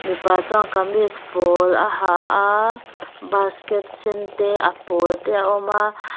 mipa chuan kamis pawl a ha a basket sen te a pawl te a awm a.